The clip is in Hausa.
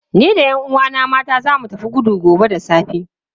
Ni da 'yan uwana mata za mu tafi gudu gobe da safe.